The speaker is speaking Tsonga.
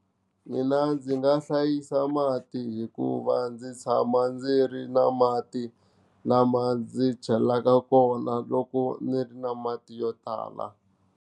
Mina ndzi nga hlayisa mati hikuva ndzi tshama ndzi ri na mati lama ndzi chelaka kona loko ndzi ri na mati yo tala.